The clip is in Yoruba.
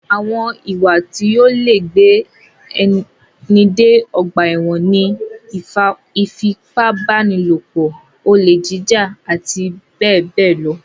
Àwọn ìwá tó lè gbé ni dé ọgbà ẹ̀wọ̀n ní: ìfipábánilòpọ̀, olè jíjà àti bẹ́ẹ̀ bẹ́ẹ̀ lọ.